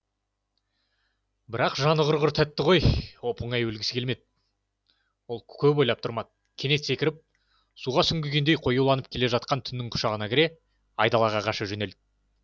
бірақ жаны құрғыр тәтті ғой оп оңай өлгісі келмеді ол көп ойлап тұрмады кенет секіріп суға сүңгігендей қоюланып келе жатқан түннің құшағына кіре айдалаға қаша жөнелді